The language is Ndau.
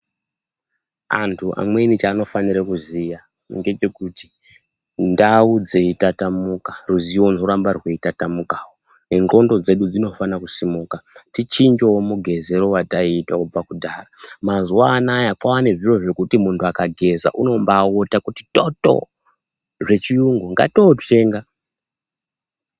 Antu amweni chaanofanire kuziya ngechekuti ndau dzeitatamuka ruziwo runorambe rweitatamukawo nenxlondo dzedu dzinofane kusimuka tichinjewo mugezero wataita kubva kudhaya mazuwano aya kwaane zviro zvekuti munhu akageza unobaawota kuti toto zvechiyungu ngaatozvitenga.